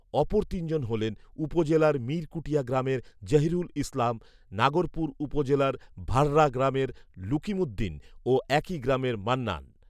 অপর তিনজন হলেন উপজেলার মীর কুটিয়া গ্রামের জহিরুল ইসলাম, নাগরপুর উপজেলার ভারড়া গ্রামের লুকিমুদ্দিন ও একই গ্রামের মান্নান